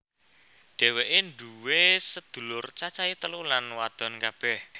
Dhéwéké nduwé sedulur cacahé telu lan wadon kabeh